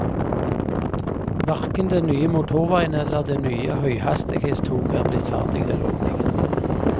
Hverken den nye motorveien eller det nye høyhastighetstoget er blitt ferdig til åpningen.